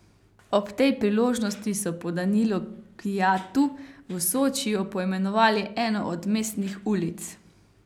Ob tej priložnosti so po Danilu Kvjatu v Sočiju poimenovali eno od mestnih ulic.